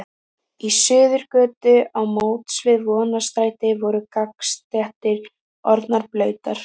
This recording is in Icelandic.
Í Suðurgötu á móts við Vonarstræti voru gangstéttir orðnar blautar.